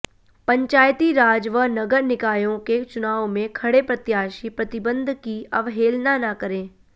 पंचायती राज व नगर निकायों के चुनाव में खड़े प्रत्याशी प्रतिबंध की अवहेलना न करें